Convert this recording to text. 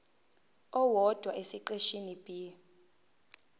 owodwa esiqeshini b